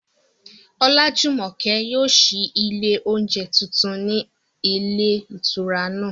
Olájùmọ̀kẹ́ yóò ṣí ilé oúnjẹ tuntun ní ilé ìtura náà